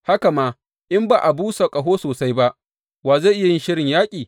Haka ma in ba a busa ƙaho sosai ba, wa zai yi shirin yaƙi?